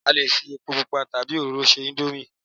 a lè fi epo pupa tabi oróro se indomie